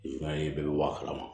I b'a ye bɛɛ bɛ bɔ a kalama